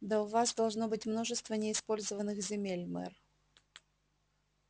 да у вас должно быть множество неиспользованных земель мэр